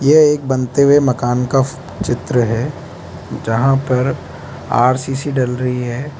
यह एक बनते हुए मकान का चित्र है जहां पर आर_सी_सी डल रही है।